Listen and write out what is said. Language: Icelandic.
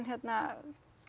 hérna